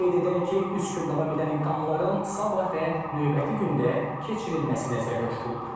Qeyd edək ki, üç gün davam edən imtahanların sabah və növbəti gündə keçirilməsi nəzərdə tutulub.